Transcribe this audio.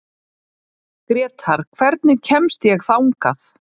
Grétar, hvernig kemst ég þangað?